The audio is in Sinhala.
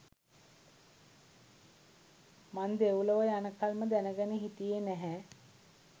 මං දෙව්ලොව යනකල්ම දැනගෙන හිටියේ නැහැ